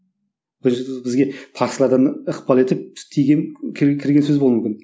бір бізге парсылардан ықпал етіп тиген кірген сөз болуы мүмкін